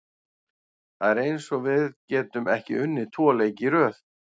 Það er eins og við getum ekki unnið tvo leiki í röð.